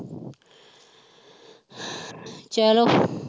ਚਲੋ